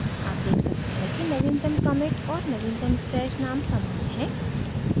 आप देख सकते हैं कि नवीनतम commit और नवीनतम stash name समान हैं